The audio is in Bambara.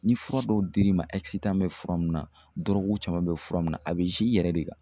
Ni fura dɔw dir'i ma bɛ fura mun na caman bɛ fura min na a bɛ i yɛrɛ de kan.